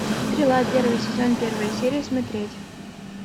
стрела первый сезон первая серия смотреть